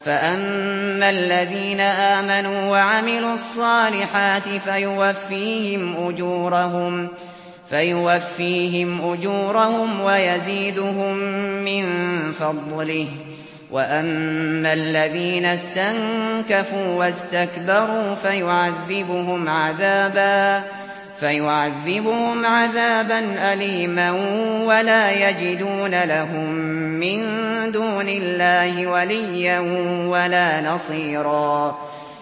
فَأَمَّا الَّذِينَ آمَنُوا وَعَمِلُوا الصَّالِحَاتِ فَيُوَفِّيهِمْ أُجُورَهُمْ وَيَزِيدُهُم مِّن فَضْلِهِ ۖ وَأَمَّا الَّذِينَ اسْتَنكَفُوا وَاسْتَكْبَرُوا فَيُعَذِّبُهُمْ عَذَابًا أَلِيمًا وَلَا يَجِدُونَ لَهُم مِّن دُونِ اللَّهِ وَلِيًّا وَلَا نَصِيرًا